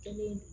Kelen